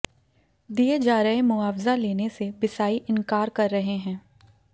दिए जा रहे मुआवजा लेने से बिसाई इंकार कर रहे हैं